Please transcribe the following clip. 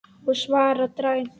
Ég svara dræmt.